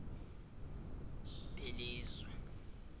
belizwe